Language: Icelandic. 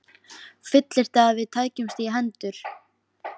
Fullyrti, að við tækjumst í hendur.